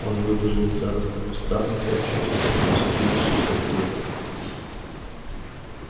он выбежал из зарослей кустарника и очутился нос к носу этой глупой птицей